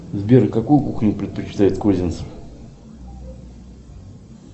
сбер какую кухню предпочитает козенцев